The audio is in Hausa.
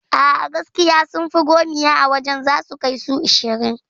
A'a gaskiya sunfi gomiya a wajan zasu kai su ashirin